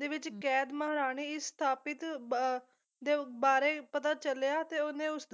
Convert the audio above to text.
ਦੇ ਵਿੱਚ ਕੈਦ ਮਹਾਰਾਣੀ ਸਥਾਪਿਤ ਬ ਦੇ ਬਾਰੇ ਪਤਾ ਚਲਿਆ ਤੇ ਉਹਨੇ ਉਸ